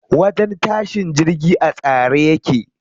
Wajen tashin jirgi a tsare yake.